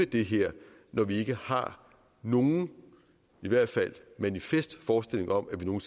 det her når vi ikke har nogen i hvert fald manifest forestilling om at vi nogen